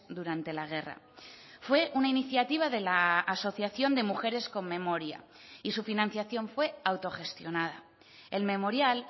durante la guerra fue una iniciativa de la asociación de mujeres con memoria y su financiación fue autogestionada el memorial